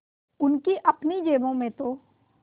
उनकी अपनी जेबों में तो